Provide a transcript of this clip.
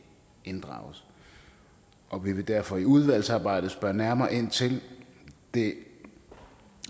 inddrages og vi vil derfor i udvalgsarbejdet spørge nærmere ind til det